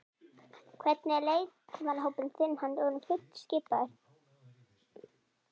Hvernig er með leikmannahópinn þinn, er hann orðinn fullskipaður?